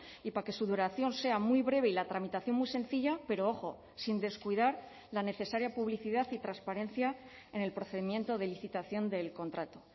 y para que su duración sea muy breve y la tramitación muy sencilla pero ojo sin descuidar la necesaria publicidad y transparencia en el procedimiento de licitación del contrato